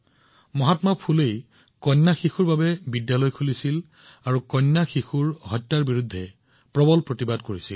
মহাত্মা ফুলেয়ে সেই সময়ছোৱাত কন্যাসকলৰ বাবে বিদ্যালয় খুলিছিল কন্যা শিশু হত্যাৰ বিৰুদ্ধে মাত মাতিছিল